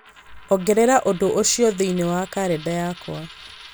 ongerera ũndũ ũcio thĩinĩ wa kalenda yakwa